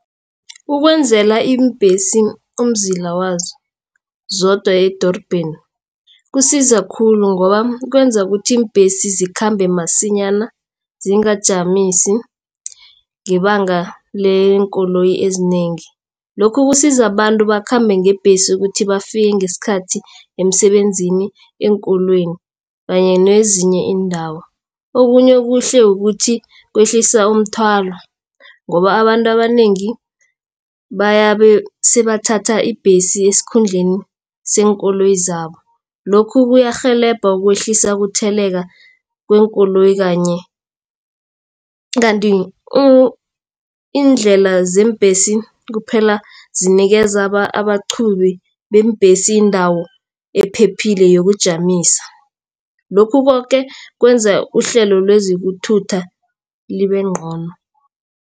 Ukwenzela iimbhesi umzila wazo zodwa edorobheni kusiza khulu. Ngoba kwenza ukuthi iimbhesi zikhambe masinyana zingajamisi ngebanga leenkoloyi ezinengi. Lokhu kusiza abantu bakhambe ngebhesi ukuthi bafike ngesikhathi emsebenzini, eenkolweni kanye nezinye iindawo. Okunye okuhle kukuthi kwehlisa umthwalo ngoba abantu abanengi sebathatha ibhesi esikhundleni seenkoloyi zabo. Lokhu kuyarhelebha kwehlisa ukutheleka kweenkoloyi. Kanti iindlela zeembhesi kuphela zinikeza abaqhubi beembhesi indawo ephephile yokujamisa. Lokhu koke kwenza uhlelo lezokuthutha libe ngcono.